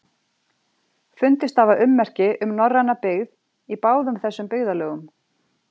Fundist hafa ummerki um norræna byggð í báðum þessum byggðarlögum.